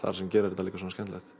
sem gerir þetta svona skemmtilegt